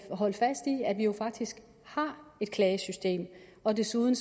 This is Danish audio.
holde fast i at vi jo faktisk har et klagesystem og desuden